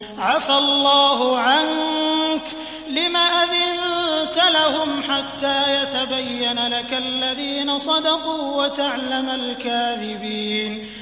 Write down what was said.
عَفَا اللَّهُ عَنكَ لِمَ أَذِنتَ لَهُمْ حَتَّىٰ يَتَبَيَّنَ لَكَ الَّذِينَ صَدَقُوا وَتَعْلَمَ الْكَاذِبِينَ